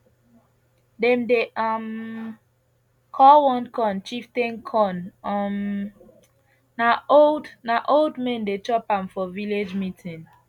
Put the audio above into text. dem dey um call one corn chieftain corn um na old na old men dey chop am for village meeting